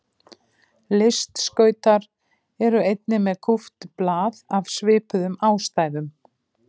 Listskautar eru einnig með kúpt blað af svipuðum ástæðum.